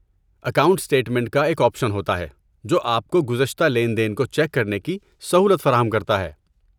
Account statement کا ایک option ہوتا ہے، جو آپ کو گزشتہ لین دین کو چیک کرنے کی سہولت فراہم کرتا ہے۔